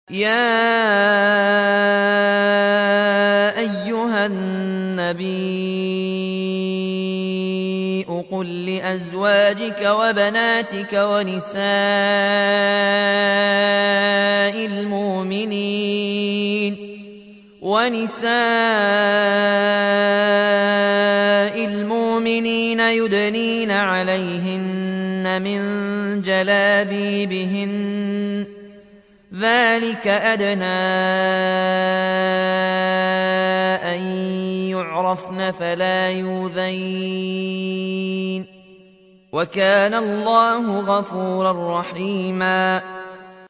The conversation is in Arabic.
يَا أَيُّهَا النَّبِيُّ قُل لِّأَزْوَاجِكَ وَبَنَاتِكَ وَنِسَاءِ الْمُؤْمِنِينَ يُدْنِينَ عَلَيْهِنَّ مِن جَلَابِيبِهِنَّ ۚ ذَٰلِكَ أَدْنَىٰ أَن يُعْرَفْنَ فَلَا يُؤْذَيْنَ ۗ وَكَانَ اللَّهُ غَفُورًا رَّحِيمًا